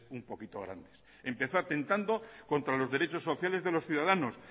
un poquito grandes empezó atetando contra los derechos sociales de los ciudadanos